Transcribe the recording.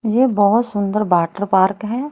यह बहोत सुंदर वाटर पार्क हैं।